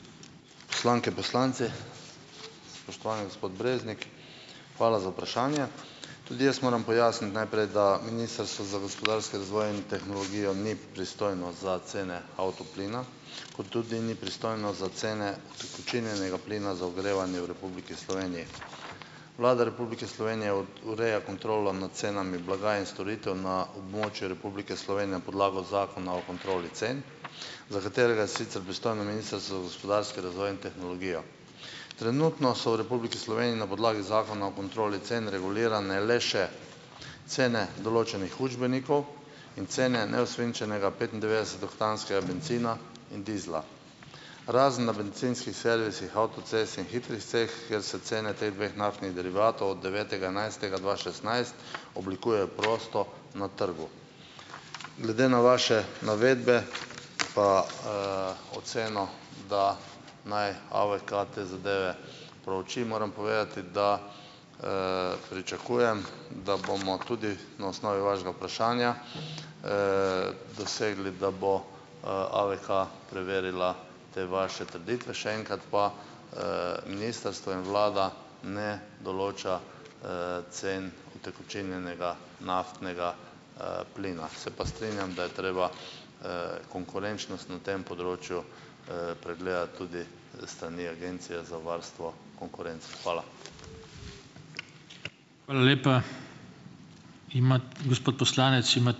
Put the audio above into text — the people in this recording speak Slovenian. Poslanke, poslanci. Spoštovani gospod Breznik, hvala za vprašanje. Tudi jaz moram pojasniti najprej, da Ministrstvo za gospodarski razvoj in tehnologijo ni pristojno za cene avtoplina, kot tudi ni pristojno za cene utekočinjenega plina za ogrevanje v Republiki Sloveniji. Vlada Republike Slovenije ureja kontrolo nad cenami blaga in storitev na območju Republike Slovenije na podlagi Zakona o kontroli cen, za katerega je sicer pristojno Ministrstvo za gospodarski razvoj in tehnologijo. Trenutno so v Republiki Sloveniji na podlagi Zakona o kontroli cen regulirane le še cene določenih učbenikov in cene neosvinčenega petindevetdesetoktanskega bencina in dizla, razen na bencinskih servisih avtocest in hitrih cest, kjer se cene teh dveh naftnih derivatov od devetega enajstega dva šestnajst oblikujejo prosto na trgu. Glede na vaše navedbe pa, oceno, da naj AVK te zadeve prouči, moram povedati, da, pričakujem, da bomo tudi na osnovi vašega vprašanja, dosegli, da bo, AVK preverila te vaše trditve. Še enkrat pa, ministrstvo in vlada ne določa, cen utekočinjenega naftnega, plina. Se pa strinjam, da je treba, konkurenčnost na tem področju, pregledati tudi s strani Agencije za varstvo konkurence. Hvala.